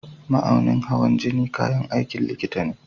Mahaunin hawan jini kayan aikin likita ne.